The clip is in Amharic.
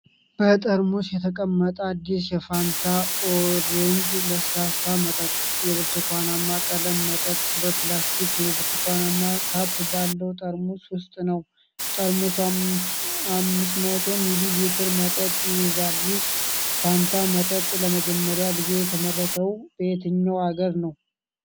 በጠርሙስ የተቀመጠ አዲስ የፋንታ ኦሬንጅ ለስላሳ መጠጥ። የብርቱካናማ ቀለም መጠጥ በፕላስቲክ የብርቱካናማ ካፕ ባለው ጠርሙስ ውስጥ ነው። ጠርሙሱ 500 ሚሊ ሊትር መጠጥ ይይዛል። ይህ ፋንታ መጠጥ ለመጀመሪያ ጊዜ የተመረተው በየትኛው አገር ነው?